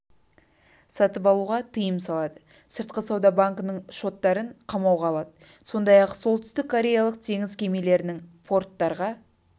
сатып алуға тыйым салады сыртқы сауда банкінің шоттарын қамауға алады сондай-ақ сеолтүстіккореялық теңіз кемелерінің порттарға